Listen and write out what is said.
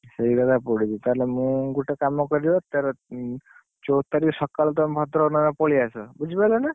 ସେଇକଥା ପଡିଛି ତାହେଲେ ମୁଁ ଗୋଟେ କାମ କରିବ ତେର, ଉଁ, ଚଉଦ ତାରିଖ ସଖାଳକୁ ତମେ ଭଦ୍ରକ ନହେଲେ ପଳେଇଆସ ବୁଝିପାରିଲ ନା?